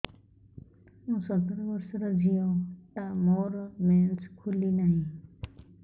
ମୁ ସତର ବର୍ଷର ଝିଅ ଟା ମୋର ମେନ୍ସେସ ଖୁଲି ନାହିଁ